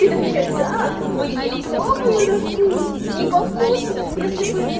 ты такой отвечаешь да мы не пробую на вкус не по вкусу если бы